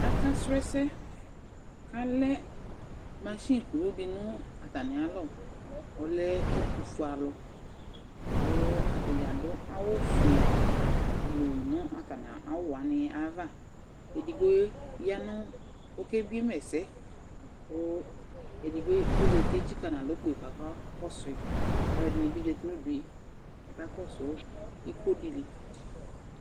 Aka srɔ ɛsɛ kalɛ mashɩnɩ kʊlʊ dɩ natamɩ alɔ, ɔlɛ ɛtʊfʊealʊ kʊ ata dza adʊ awʊ fʊe blʊ nʊ atamɩ awʊ wanɩ aƴava Edɩgbo oke bɩe ma ɛsɛ, kʊ edɩgbo kɔzatɩ tsɩka nalɔ kpeƴɩ ɔka kɔsʊɩ Ɛdɩnɩ bɩ zatɩ nʊdʊe ka kɔsʊ ɩko dɩlɩ